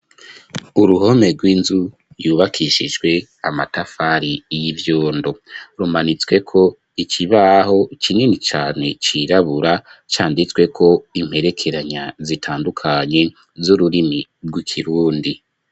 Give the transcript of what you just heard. Uruhome rw'inzu, yubakishijwe amatafari, y'ivyondo; rumanitsweko ikibaho, kinini cane, cirabura, canditsweko imperekeranya, zitandukanye, z'ururimi rw'ikirundi.